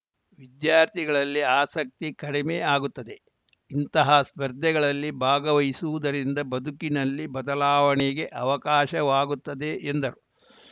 ವಿದ್ಯಾರ್ಥಿಗಳಲ್ಲಿ ಆಸಕ್ತಿ ಕಡಿಮೆ ಆಗುತ್ತದೆ ಇಂತಹ ಸ್ಪರ್ಧೆಗಳಲ್ಲಿ ಭಾಗವಹಿಸುವುದರಿಂದ ಬದುಕಿನಲ್ಲಿ ಬದಲಾವಣೆಗೆ ಅವಕಾಶವಾಗುತ್ತದೆ ಎಂದರು